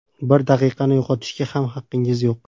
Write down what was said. Bir daqiqani yo‘qotishga ham haqqingiz yo‘q.